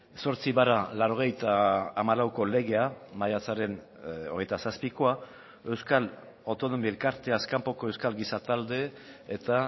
zortzi barra laurogeita hamalauko legea maiatzaren hogeita zazpikoa euskal autonomi elkartzeaz kanpoko euskal giza talde eta